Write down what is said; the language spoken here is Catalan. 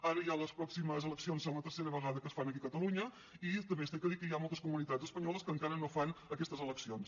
ara ja les prò·ximes eleccions és la tercera vegada que es fan aquí a catalunya i també s’ha de dir que hi ha moltes comu·nitats espanyoles que encara no fan aquestes eleccions